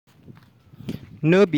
no be